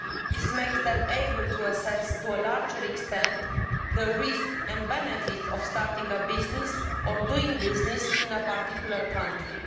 This makes them able to assess to a larger extent the risks and benefits of starting a business or doing business in a particular country.